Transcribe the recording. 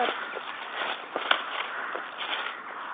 En hvað með litina?